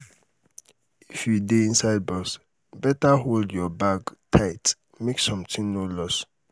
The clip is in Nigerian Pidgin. if you dey inside bus beta hold your bag tight make something no loss